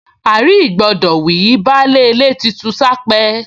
À-rí-ìgbọdọ̀ wí, baálé ilé ti ṣu s’ápẹ́